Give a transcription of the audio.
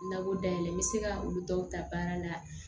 Lako dayɛlɛ n bɛ se ka olu dɔw ta baara la